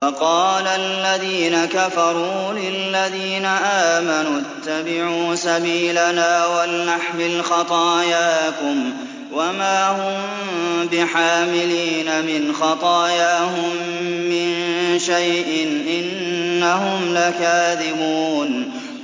وَقَالَ الَّذِينَ كَفَرُوا لِلَّذِينَ آمَنُوا اتَّبِعُوا سَبِيلَنَا وَلْنَحْمِلْ خَطَايَاكُمْ وَمَا هُم بِحَامِلِينَ مِنْ خَطَايَاهُم مِّن شَيْءٍ ۖ إِنَّهُمْ لَكَاذِبُونَ